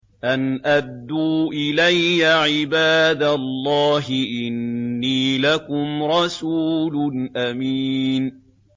أَنْ أَدُّوا إِلَيَّ عِبَادَ اللَّهِ ۖ إِنِّي لَكُمْ رَسُولٌ أَمِينٌ